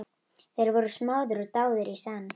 Þeir voru smáðir og dáðir í senn.